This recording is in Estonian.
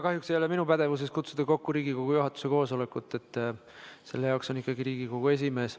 Kahjuks ei ole minu pädevuses kutsuda kokku Riigikogu juhatuse koosolekut, seda saab teha ikkagi Riigikogu esimees.